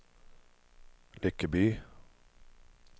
Lyckeby